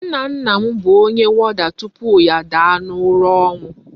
Nna nna m bu Onye warder tupu ya a daa na ura onwu